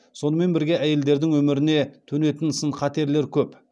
сонымен бірге әйелдердің өміріне төнетін сын қатерлер көп